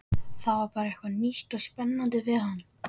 Það var bara eitthvað nýtt og spennandi við hann.